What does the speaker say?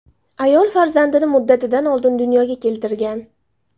Ayol farzandini muddatidan oldin dunyoga keltirgan.